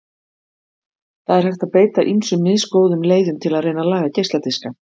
Það er hægt að beita ýmsum misgóðum leiðum til að reyna að laga geisladiska.